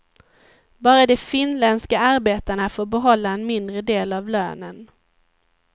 Bara de finländska arbetarna får behålla en mindre del av lönen.